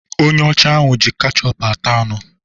Onye ọcha ahụ ji kechup ata anụ.